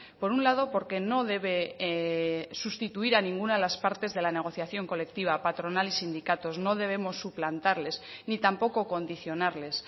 por un lado porque no debe sustituir a ninguna de las partes de la negociación colectiva patronal y sindicatos no debemos suplantarles ni tampoco condicionarles